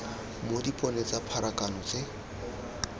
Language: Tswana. mo dipone tsa pharakano tse